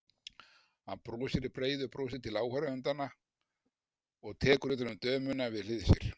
Hann brosir breiðu brosi til áhorfendanna og tekur utan um dömuna við hlið sér.